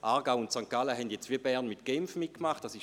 Aargau und St. Gallen haben sich wie Bern Genf angeschlossen.